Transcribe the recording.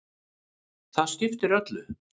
Það skiptir öllu.